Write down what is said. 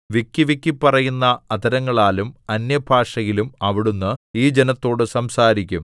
വിക്കിവിക്കി പറയുന്ന അധരങ്ങളാലും അന്യഭാഷയിലും അവിടുന്ന് ഈ ജനത്തോടു സംസാരിക്കും